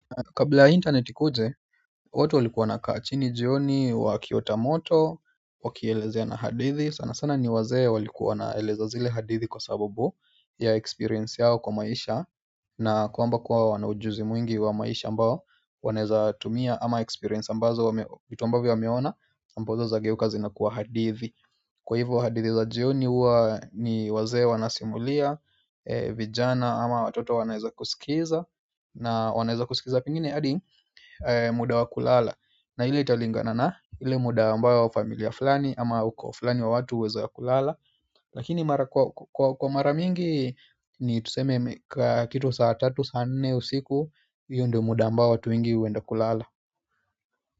Kabla interneti ikuje, watu walikuwa wanakaa chini jioni, wakiota moto, wakielezeana hadithi sana sana ni wazee walikuwa wanaeleza zile hadithi kwa sababu ya experience yao kwa maisha na kwamba kwao wana ujuzi mwingi wa maisha ambao wanaeza tumia ama experience ambazo vitu ambavyo wameona ambazo zageuka zinakuwa hadithi kwa hivyo hadithi za jioni huwa ni wazee wanasimulia, vijana ama watoto wanaeza kusikiza na wanaeza kusikiza pengine hadi muda wa kulala na ile italingana na ile muda ambayo familia fulani ama ukoo fulani wa watu waeza kulala lakini mara kwa mara mingi ni tuseme kitu saa tatu saa nne usiku hiyo ndyo muda ambayo watu wengi huenda kulala.